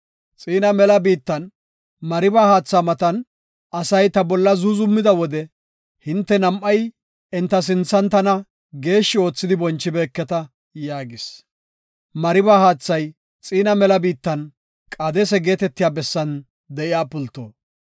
Xiina mela biittan, Mariba haatha matan asay ta bolla zuuzumida wode hinte nam7ay enta sinthan tana geeshshi oothidi bonchibeeketa” yaagis. (Mariba haathay Xiina mela biittan, Qaadesa geetetiya bessan de7iya pulto.)